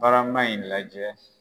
Barama in lajɛ